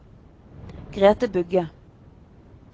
Grete Bugge